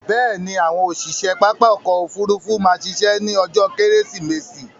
Bẹ̀ẹ̀ni, àwọn òṣiṣe pápá ọkò òfurufú má ṣiṣẹ́ ní ọjó kẹ́rẹ́sìmẹsì